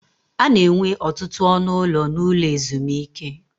A na-enwe ọtụtụ ọnụ ụlọ n'ụlọ ezumike.